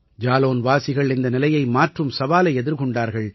ஜாலௌன்வாசிகள் இந்த நிலையை மாற்றும் சவாலை எதிர்கொண்டார்கள்